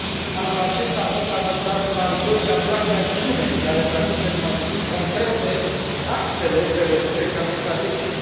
Anul acesta a fost adoptat un al doilea plan de acțiune, care traduce în măsuri concrete axele prevăzute în cadrul strategic.